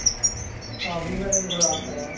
ವಿಂಗಡಣೆಗಳು ಆಗ್ತಾವ.